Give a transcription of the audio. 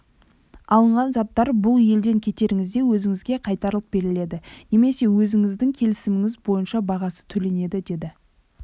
алынған заттар бұл елден кетеріңізде өзіңізге қайтарылып беріледі немесе өзіңіздің келісіміңіз бойынша бағасы төленеді деді